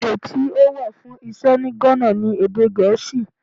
Èdè tí ó wà fún Iṣẹ́ ní Ghana ni èdè Gèésì.